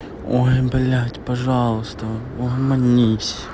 ой блядь пожалуйста угомонись